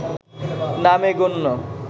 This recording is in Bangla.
নামে গণ্য